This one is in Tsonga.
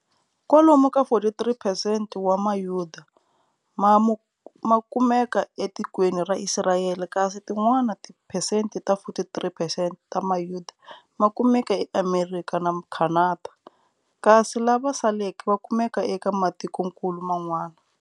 Kwalomu ka 43 percent wa mayuda makumeka e tikweni ra Israyeli kasi ti n'wana tiphesenti ta 43 percent ta mayuda makumela e Amerikha na Khanada, kasi lava saleke vakumeka eka matikonkulu man'wana.